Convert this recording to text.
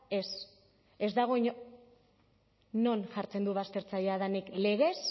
ez ez dago inon non jartzen du baztertzailea denik legez